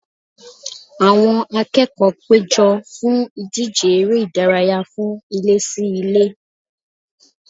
Àwọn akẹ́kọ̀ọ́ péjọ fún ìdíje eré ìdárayá fún ilé-sí-ilé